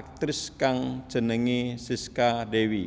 aktris kang jenengé Sisca Dewi